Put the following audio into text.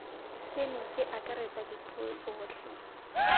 seno se akaretsa dipuo tsotlhe